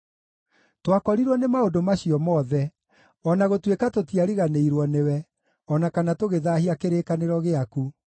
Twakorirwo nĩ maũndũ macio mothe, o na gũtuĩka tũtiariganĩirwo nĩwe, o na kana tũgĩthaahia kĩrĩkanĩro gĩaku.